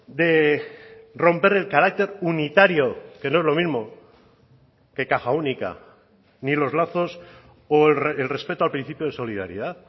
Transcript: de romper el carácter unitario que no es lo mismo que caja única ni los lazos o el respeto al principio de solidaridad